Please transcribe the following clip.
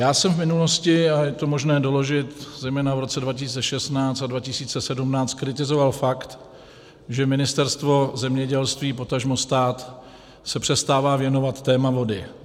Já jsem v minulosti, a je to možné doložit, zejména v roce 2016 a 2017, kritizoval fakt, že Ministerstvo zemědělství, potažmo stát se přestává věnovat tématu vody.